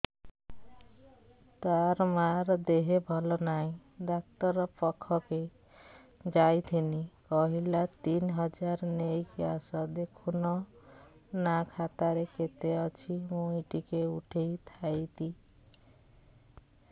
ତାର ମାର ଦେହେ ଭଲ ନାଇଁ ଡାକ୍ତର ପଖକେ ଯାଈଥିନି କହିଲା ତିନ ହଜାର ନେଇକି ଆସ ଦେଖୁନ ନା ଖାତାରେ କେତେ ଅଛି ମୁଇଁ ଟିକେ ଉଠେଇ ଥାଇତି